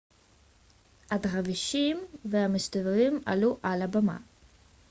הדרווישים המסתובבים עלו על הבמה